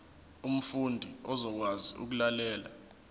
umfundi uzokwazi ukulalela